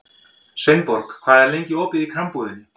Sveinborg, hvað er lengi opið í Krambúðinni?